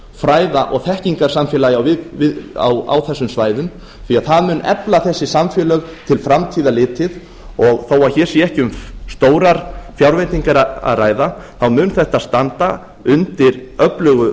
fræða og þekkingarsamfélagi á þessum svæðum því að það mun efla þessi samfélög til framtíðar litið þó að hér sé ekki um stórar fjárveitingar að ræða mun þetta standa undir öflugu